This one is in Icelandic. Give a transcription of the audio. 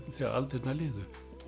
þegar aldirnar liðu